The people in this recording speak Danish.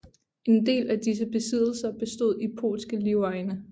En del af disse besiddelr bestod i polske livegne